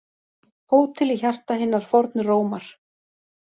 Hótel í hjarta hinnar fornu Rómar